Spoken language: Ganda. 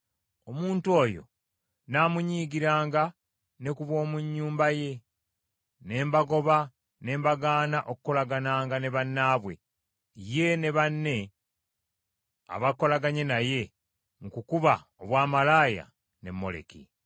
omuntu oyo nnaamunyiigiranga, ne ku b’omu nnyumba ye, ne mbagoba ne mbagaana okukolagananga ne bannaabwe, ye ne banne abakolaganye naye mu kukuba obwamalaaya ne Moleki.